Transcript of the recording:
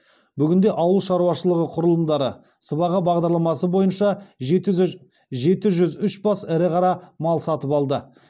бүгінде ауыл шаруашылығы құрылымдары сыбаға бағдарламасы бойынша жеті жүз үш бас ірі қара мал сатып алды